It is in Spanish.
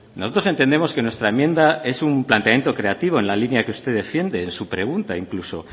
nosotros entendemos que nuestra enmienda es un planteamiento creativo en la línea que usted defiende en su pregunta incluso